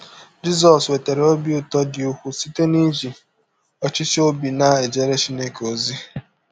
Jisọs nwetara ọbi ụtọ dị ụkwụụ site n’iji ọchịchọ ọbi na - ejere Chineke ọzi.